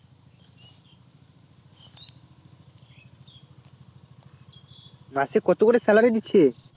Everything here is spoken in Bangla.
মাসে কত করে salary দিচ্ছে